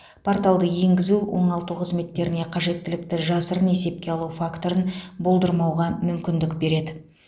порталды енгізу оңалту қызметтеріне қажеттілікті жасырын есепке алу факторын болдырмауға мүмкіндік береді